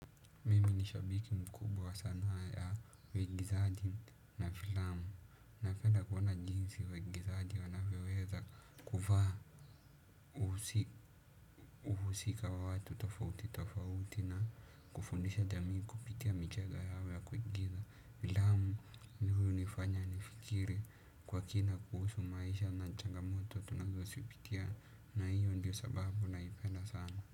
Nishabiki mkubwa sana ya weggizadi na filamu. Nafenda kuona jinsi waigizadi wanavyoweza kuvaa uhusika wa watu tofauti tofauti na kufundisha jamii kupitia michega yao ya kuigiza. Filamu ni huyu nifanya nifikiri kwa kina kuhusu maisha na nchangamoto tunazosipitia na hiyo ndiyo sababu naipenda sana.